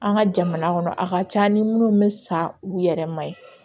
An ka jamana kɔnɔ a ka ca ni minnu bɛ sa u yɛrɛ ma ye